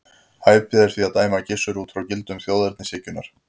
Hæpið er því að dæma Gissur út frá gildum þjóðernishyggjunnar.